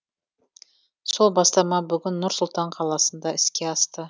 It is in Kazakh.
сол бастама бүгін нұр сұлтан қаласында іске асты